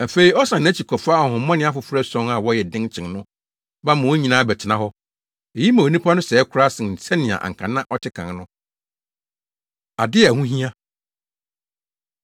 Afei, ɔsan nʼakyi kɔfa ahonhommɔne afoforo ason a wɔyɛ den kyɛn no ba ma wɔn nyinaa bɛtena hɔ. Eyi ma onipa no sɛe koraa sen sɛnea anka na ɔte kan no.” Ade A Ɛho Hia